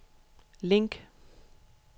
link